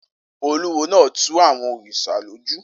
Olúwo náà tu àwọn òrìṣà lójú